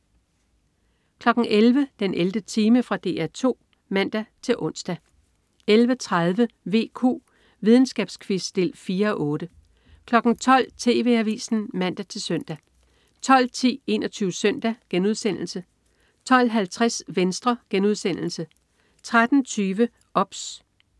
11.00 den 11. time. Fra DR 2 (man-ons) 11.30 VQ. Videnskabsquiz 4:8 12.00 TV Avisen (man-søn) 12.10 21 Søndag* 12.50 Venstre* 13.20 OBS